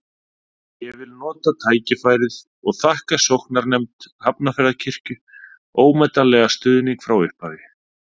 Ég vil nota tækifærið og þakka sóknarnefnd Hafnarfjarðarkirkju ómetanlegan stuðning frá upphafi.